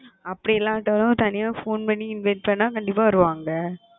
அப்பிடி இல்லயாட்டும் தனியா phone பண்ணி invite பண்ண எல்லாம் கண்டிப்பா வருவாங்க